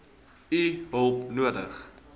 u hulp nodig